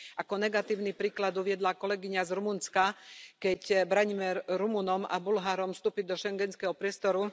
Ako negatívny príklad uviedla kolegyňa z Rumunska, keď bránime Rumunom a Bulharom vstúpiť do schengenského priestoru.